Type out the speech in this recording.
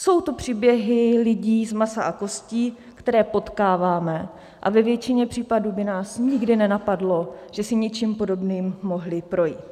Jsou to příběhy lidí z masa a kostí, které potkáváme, a ve většině případů by nás nikdy nenapadlo, že si něčím podobným mohli projít.